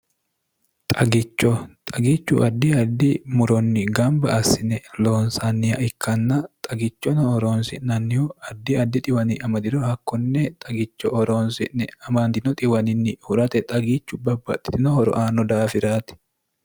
xagicho xagichu addi addi muronni gamba assine lonsaanniya ikkanna xagichono roonsi'nannihu addi adi wmdiro hakkonne xagicho oroonsi'ne amaandio iwannni hurate xagiichu babbaxxitinoho roaanno daafiraati